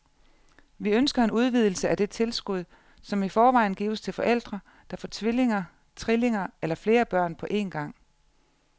Vi ønsker en udvidelse af det tilskud, som i forvejen gives til forældre, der får tvillinger, trillinger eller flere børn på en gang.